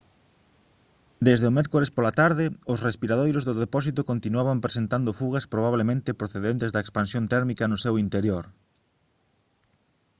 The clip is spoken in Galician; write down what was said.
desde o mércores pola tarde os respiradoiros do depósito continuaban presentado fugas probablemente procedentes da expansión térmica no seu interior